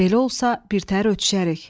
Belə olsa, birtəhər ötüşərik.